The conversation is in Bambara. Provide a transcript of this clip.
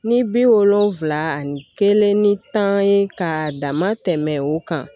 Ni bi wolonfila ani kelen ni tan ye ka dama tɛmɛ o kan